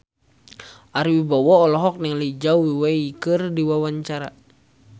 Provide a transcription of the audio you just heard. Ari Wibowo olohok ningali Zhao Wei keur diwawancara